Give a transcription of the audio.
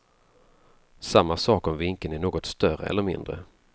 Samma sak om vinkeln är något större eller mindre.